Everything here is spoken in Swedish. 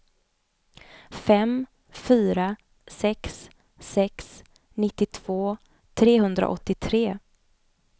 fem fyra sex sex nittiotvå trehundraåttiotre